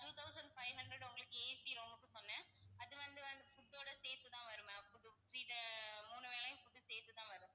two thousand five hundred உங்களுக்கு AC room க்கு சொன்னேன். அது வந்து வந்து food டோட சேர்த்துதான் வரும் ma'am இது மூணு வேளையும் சேர்த்துதான் வரும்.